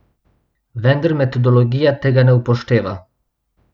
Vendar metodologija tega ne upošteva.